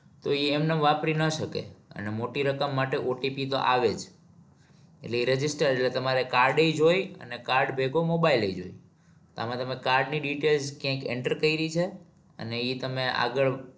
તો એ એમ નામ વાપરી ના શકે અને મોટી રકમ માટે OTP તો આવે જ એટલે એ register જો તમારે card જાય અને card ભેગો mobile જ હોય આમાં તમે card ની detail કઈ enter કરી છે અને એ તમે આગળ